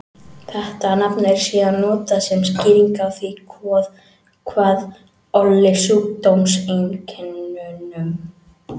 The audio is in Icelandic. Þetta nafn er síðan notað sem skýring á því hvað olli sjúkdómseinkennunum.